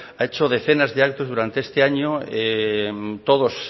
ha hecho decenas de actos durante este año todos